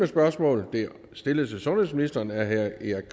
spørgsmål er stillet til sundhedsministeren af herre erik